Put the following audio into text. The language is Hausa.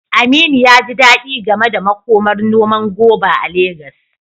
Aminu ya ji dadi game da makomar noman goba a Legas.